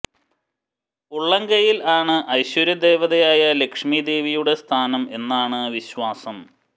ഉള്ളം കൈയിൽ ആണ് ഐശ്വര്യ ദേവതയായ ലക്ഷ്മിദേവിയുടെ സ്ഥാനം എന്നാണ് വിശ്വാസം